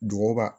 Duguba